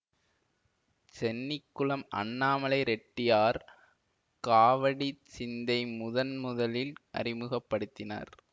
சென்னிகுளம் அண்ணாமலை ரெட்டியார் காவடிச் சிந்தை முதன் முதலில் அறிமுக படுத்தினர்